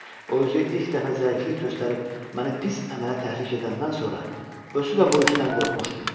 O özü ilk dəfə zəiflik göstərib məni pis əmələ təhrik edəndən sonra, özü də bu işdən qorxmuşdu.